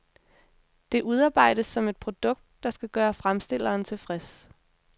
Det udarbejdes som et produkt, der skal gøre fremstilleren tilfreds.